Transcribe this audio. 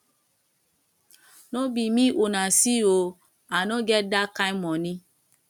no be me una see ooo i no get dat kin money